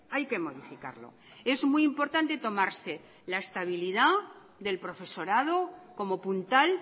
hay que modificarlo es muy importante tomarse la estabilidad del profesorado como puntal